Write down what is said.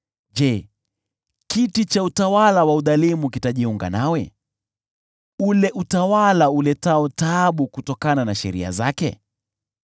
Je, kiti cha utawala wa udhalimu kitajiunga nawe, ule utawala uletao taabu kutokana na sheria zake?